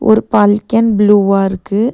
ஒரு பால் கேன் புளுவா இருக்கு.